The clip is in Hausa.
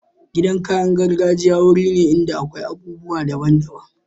Gidan kayan gargajiya wuri ne inda akwai abubuwa daban daban.